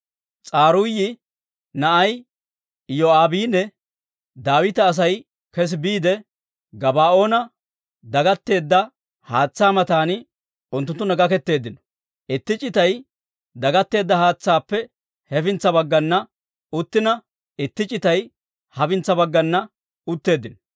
S'aruuyi na'ay Iyoo'aabinne Daawita Asay kes biide, Gabaa'oona dagatteedda haatsaa matan unttunttunna gaketeeddino; itti c'itay dagatteedda haatsaappe hefintsa baggana uttina, itti c'itay hafintsa baggana utteeddino.